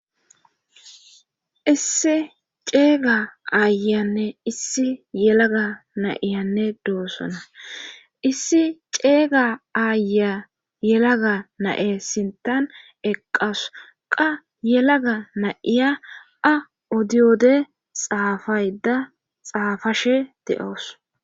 issi ceega aayanne issi yelaga na'ianne doossona issi ceeyga aaya yelaga na'e sintan eqqasu qa yelaga na'iya a odiyode xaafayda xaafashe de'oos